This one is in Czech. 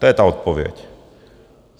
To je ta odpověď.